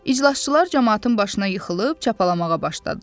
İclasçılar camaatın başına yıxılıb çapalamağa başladılar.